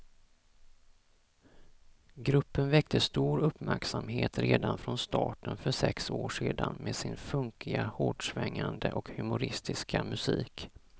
Gruppen väckte stor uppmärksamhet redan från starten för sex år sedan med sin funkiga, hårdsvängande och humoristiska musik.